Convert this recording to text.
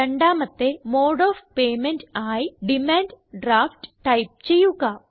രണ്ടാമത്തെ mode of payment ആയി demand draft type ചെയ്യുക